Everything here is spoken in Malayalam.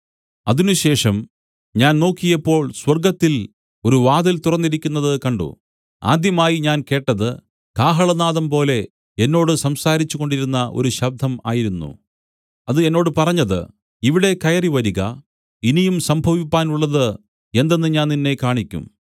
അതിനുശേഷം ഞാൻ നോക്കിയപ്പോൾ സ്വർഗ്ഗത്തിൽ ഒരു വാതിൽ തുറന്നിരിക്കുന്നത് കണ്ട് ആദ്യമായി ഞാൻ കേട്ടത് കാഹളനാദംപോലെ എന്നോട് സംസാരിച്ചുകൊണ്ടിരുന്ന ഒരു ശബ്ദം ആയിരുന്നു അത് എന്നോട് പറഞ്ഞത് ഇവിടെ കയറിവരിക ഇനിയും സംഭവിപ്പാനുള്ളത് എന്തെന്ന് ഞാൻ നിന്നെ കാണിയ്ക്കും